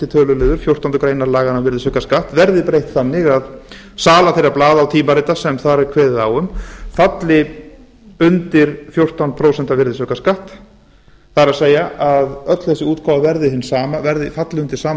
tölulið fjórtándu greinar laganna um virðisaukaskatt verði breytt þannig að sala þeirra blaða og tímarita sem þar er kveðið á um falli undir fjórtán prósent virðisaukaskatt það er öll þessi útgáfa falli undir sama